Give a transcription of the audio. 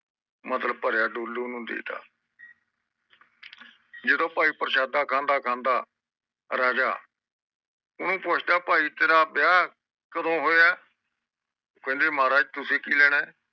ਮਤਲਬ ਭਰਿਆ ਡੋਲੂ ਓਨੁਦੇਤ ਜਦੋ ਭਾਈ ਪ੍ਰਸ਼ਾਦਾ ਖੰਡਾ ਖੰਡਾ ਰਾਜਾ ਓਹਨੂੰ ਪੌਛਡਾ ਭਾਈ ਤੇਰਾ ਵਿਆਹ ਕਦੋ ਹੋਇਆ ਉਹ ਕਹਿੰਦੀ ਮਹਾਰਾਜ ਤੁਸੀ ਕਿ ਲੈਣਾ ਆ